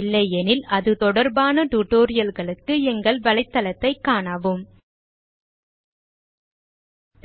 இல்லையெனில் அது தொடர்பான tutorialகளுக்கு எங்கள் வலைதளத்தைக் காணவும்